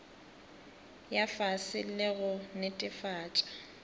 ya fase le go netefatša